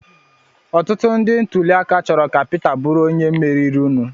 Ọtụtụ ndị ntụliaka chọrọ ka Peter Obi bụrụ onye meriri nụ.